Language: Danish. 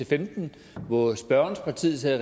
femten hvor spørgerens parti sad i